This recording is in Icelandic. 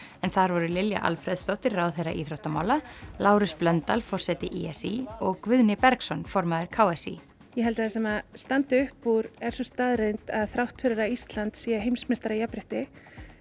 en þar voru Lilja Alfreðsdóttir ráðherra íþróttamála Lárus Blöndal forseti í s í og Guðni Bergsson formaður k s í ég held að það sem standi upp úr er sú staðreynd að þrátt fyrir að Ísland sé heimsmeistari í jafnrétti